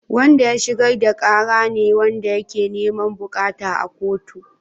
Wanda ya shigar da kara ne wanda yake niman bukata a kotu.